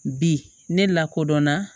Bi ne lakodɔn na